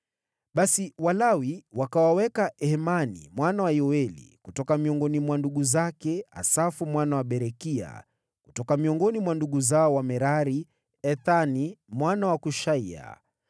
Basi Walawi wakawaweka Hemani mwana wa Yoeli; kutoka miongoni mwa ndugu zake, Asafu mwana wa Berekia; kutoka miongoni mwa ndugu zao Wamerari, Ethani mwana wa Kushaiya;